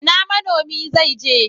Ina manomi zaije?